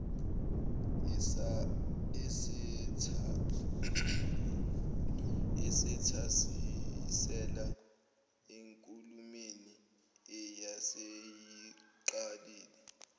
esethasisela enkulumeni ayeseyiqalile